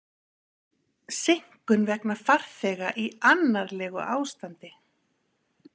Seinkun vegna farþega í annarlegu ástandi